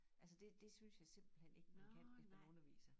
Altså det det synes jeg simpelthen ikke man kan hvis man er underviser